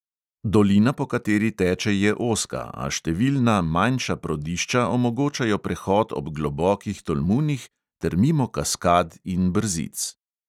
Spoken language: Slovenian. Dolina, po kateri teče, je ozka, a številna manjša prodišča omogočajo prehod ob globokih tolmunih ter mimo kaskad in brzic.